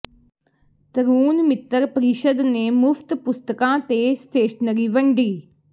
ਤਰੁਣ ਮਿੱਤਰ ਪ੍ਰੀਸ਼ਦ ਨੇ ਮੁਫਤ ਪੁਸਤਕਾਂ ਤੇ ਸਟੇਸ਼ਨਰੀ ਵੰਡੀ